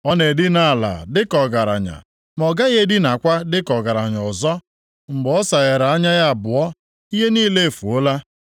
Ọ na-edina ala dịka ọgaranya ma ọ gaghị edinakwa dịka ọgaranya ọzọ; mgbe ọ saghere anya ya abụọ, ihe niile efuola.